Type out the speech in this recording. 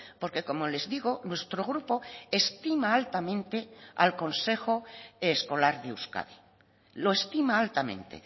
porque como les digo nuestro grupo estima altamente al consejo escolar de euskadi lo estima altamente